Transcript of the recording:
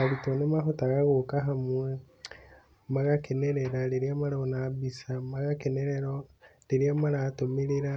Arutwo nĩ mahotaga gũka hamwe magakenerera rĩrĩa marona mbica, magakenerera rĩrĩa maratũmĩrĩra,